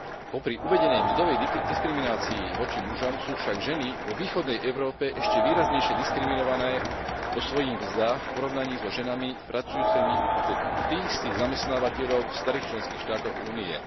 Popri uvedenej mzdovej diskriminácii voči mužom sú však ženy vo východnej Európe ešte výraznejšie diskriminované vosvojich mzdách v porovnaní so ženami pracujúcimi u tých istých zamestnávateľov v starých členských štátoch Únie.